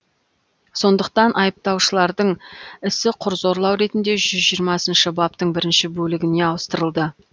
сондықтан айыпталушылардың ісі құр зорлау ретінде жүз жиырмасыншы баптың бірінші бөлігіне ауыстырылды